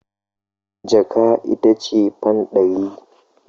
Jaka ita ce fan ɗari.